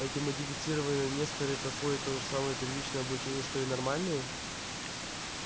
эти модифицированные несторы проходят то же самое первичное обучение что и нормальные